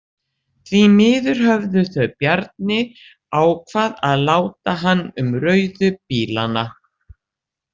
Því miður höfðu þau Bjarni ákvað að láta hann um rauðu bílana.